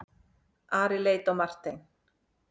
Ari leit á Martein.